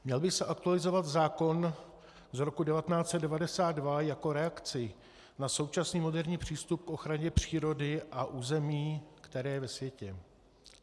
Měl by se aktualizovat zákon z roku 1992 jako reakce na současný moderní přístup k ochraně přírody a území, který je ve světě.